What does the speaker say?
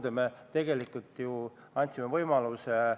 Eelnõu esitatud kujul on igati asjakohane.